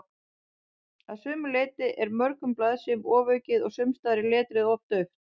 Að sumu leyti er mörgum blaðsíðum ofaukið og sumsstaðar er letrið of dauft.